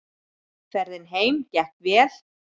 Ferðin heim gekk vel.